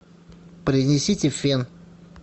принесите фен